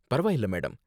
பரவாயில்ல, மேடம்.